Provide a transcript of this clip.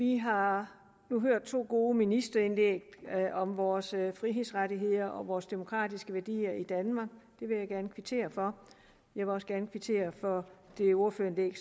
vi har hørt to gode ministreindlæg om vores frihedsrettigheder og vores demokratiske værdier i danmark det vil jeg gerne kvittere for jeg vil også gerne kvittere for det ordførerindlæg